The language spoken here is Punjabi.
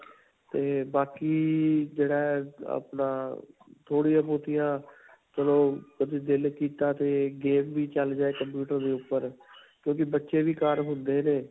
'ਤੇ ਬਾਕੀ. ਜਿਹੜਾ ਹੈ ਅਪਣਾ ਥੋੜੀਆਂ-ਬੋਹਤਿਆਂ, ਚਲੋ ਕਦੀ ਦਿਲ ਕੀਤਾ 'ਤੇ game ਵੀ ਚਲ ਜਾਏ computer ਦੇ ਉਪਰ, ਕਿਉਂਕਿ ਬੱਚੇ ਵੀ ਘਰ ਹੁੰਦੇ ਨੇ.